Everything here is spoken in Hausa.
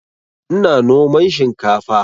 Ina noman shinkafa